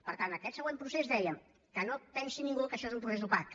per tant en aquest següent procés dèiem que no pensi ningú que això és un procés opac